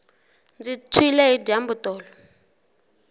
ndzi tshwile hi dyambu tolo